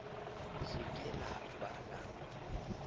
se ke la ba la